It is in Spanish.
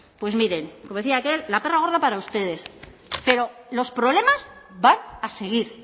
pues miren como decía aquel la perra gorda para ustedes pero los problemas van a seguir